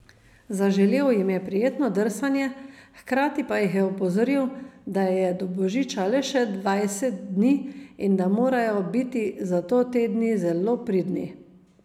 Zaželel jim je prijetno drsanje, hkrati pa jih je opozoril, da je do božiča le še dvajset dni in da morajo biti zato te dni zelo pridni.